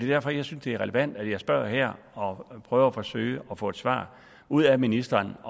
derfor jeg synes det er relevant at jeg spørger her og og forsøger at få et svar ud af ministeren